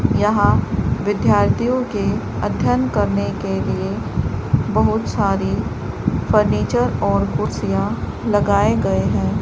यहां विद्यार्थियों के अध्ययन करने के लिए बहुत सारी फर्नीचर और कुर्सियां लगाए गए हैं।